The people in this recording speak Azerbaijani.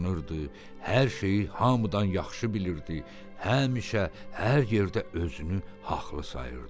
Hər şeyi hamıdan yaxşı bilirdi, həmişə hər yerdə özünü haqlı sayırdı.